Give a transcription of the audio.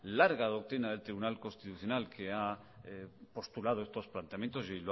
larga doctrina del tribunal constitucional que ha postulado estos planteamientos y